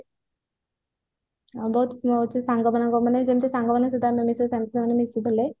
ବହୁତ ସାଙ୍ଗ ମାନଙ୍କ ଯେମିତି ସାଙ୍ଗ ମାନଙ୍କ ସହିତ ଆମେ ମିଶୁ ସେମିତି ମିଶୁଥିଲେ